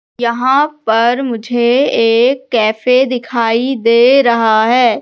यहां पर मुझे एक कैफे दिखाई दे रहा है।